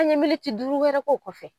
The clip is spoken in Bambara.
An ɲe duuru wɛrɛ k'o kɔfɛ